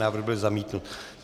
Návrh byl zamítnut.